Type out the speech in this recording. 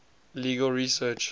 legal research